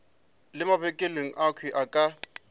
le mabenkele akhwi a ka